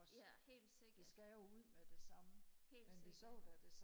ja helt sikkert helt sikkert